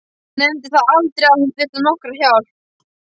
Hún nefndi það aldrei að hún þyrfti nokkra hjálp.